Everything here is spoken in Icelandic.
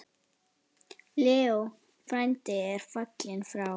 Leó frændi er fallinn frá.